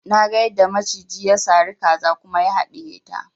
Naga yadda maciji ya sari kaza kuma ya haɗiye ta